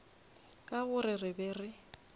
ka gore re be re